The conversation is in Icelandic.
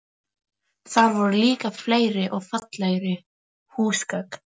Þar voru líka fleiri og fallegri húsgögn.